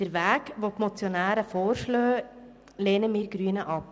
Den Weg, den die Motionäre vorschlagen, lehnen wir Grüne ab.